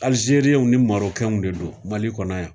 Aljeriɲɛnw ni Marɔkɛnw de don Mali kɔnɔ yan.